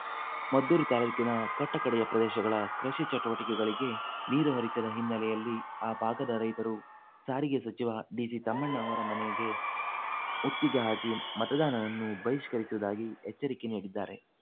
ಮದ್ದೂರು ತಾಲ್ಲೂಕಿನ ಕಟ್ಟ ಕಡೆಯ ಪ್ರದೇಶಗಳ ಕೃಷಿ ಚಟುವಟಿಕೆಗಳಿಗೆ ನೀರು ಹರಿಸದ ಹಿನ್ನೆಲೆಯಲ್ಲಿ ಆ ಭಾಗದ ರೈತರು ಸಾರಿಗೆ ಸಚಿವ ಡಿಸಿ ತಮ್ಮಣ್ಣ ಅವರ ಮನೆಗೆ ಮುತ್ತಿಗೆ ಹಾಕಿ ಮತದಾನವನ್ನು ಬಹಿಷ್ಕರಿಸುವುದಾಗಿ ಎಚ್ಚರಿಕೆ ನೀಡಿದ್ದಾರೆ